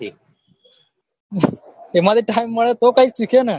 એમાંથી time મળે તો કઈ સીખેને